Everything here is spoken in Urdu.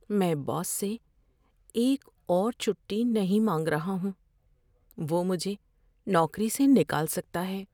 میں باس سے ایک اور چھٹی نہیں مانگ رہا ہوں۔ وہ مجھے نوکری سے نکال سکتا ہے۔